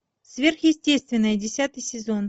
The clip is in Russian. сверхъестественное десятый сезон